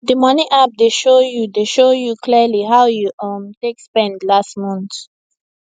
d money app dey show you dey show you clearly how you um take spend last month